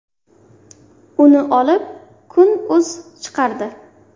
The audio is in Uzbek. Uni olib ‘Kun.uz’ chiqardi.